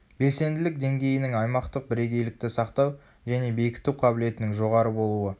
белсенділік деңгейінің аймақтық бірегейлікті сақтау және бекіту қабілетінің жоғары болуы